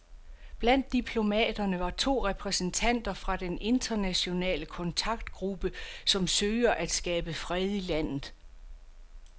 Blandt diplomaterne var to repræsentanter fra den internationale kontaktgruppe, som søger at skabe fred i landet.